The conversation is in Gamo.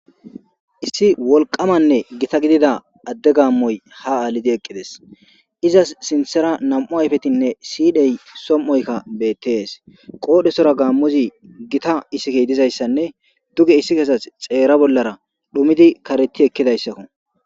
Issi wolqamanne gita gidida adde gaammoy ha aalidi eqqides izas sinthera nam7u ayfetinne siyidhey som7oykka beettees qoodhesora gaammuzi gita isikey dizayssanne duge issi kesat xeera bollara dhumidi kareti ekkidayssakko.